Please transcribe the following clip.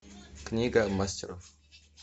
книга мастеров